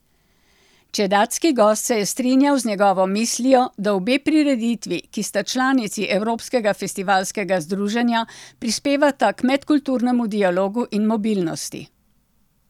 Čedadski gost se je strinjal z njegovo mislijo, da obe prireditvi, ki sta članici evropskega festivalskega združenja, prispevata k medkulturnemu dialogu in mobilnosti.